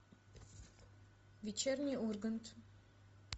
вечерний ургант